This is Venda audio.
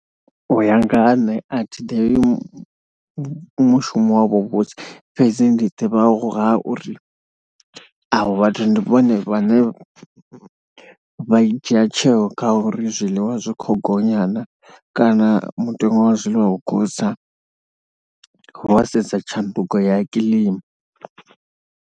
U ya nga ha nṋe a thi ḓivhi mushumo wavho wa vhuvhusi fhedzi ndi ḓivha nga ha uri avho vhathu ndi vhone vhane vha dzhia tsheo kha uri zwiḽiwa zwi khou gonya naa kana mutengo wa zwiḽiwa vho khou tsa wa sedza tshanduko ya kilima.